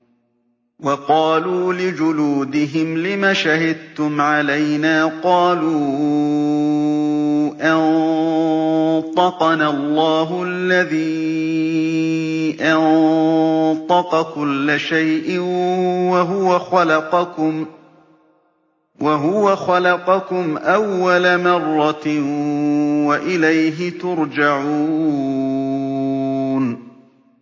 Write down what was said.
وَقَالُوا لِجُلُودِهِمْ لِمَ شَهِدتُّمْ عَلَيْنَا ۖ قَالُوا أَنطَقَنَا اللَّهُ الَّذِي أَنطَقَ كُلَّ شَيْءٍ وَهُوَ خَلَقَكُمْ أَوَّلَ مَرَّةٍ وَإِلَيْهِ تُرْجَعُونَ